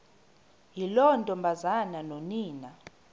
yiloo ntombazana nonina